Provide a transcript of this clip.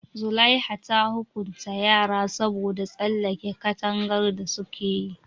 Zulaiha ta hukunta yaran saboda tsallake katangar da su kayi.